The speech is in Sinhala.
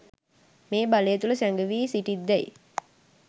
මේ බලය තුළ සැගවී සිටිත් දැයි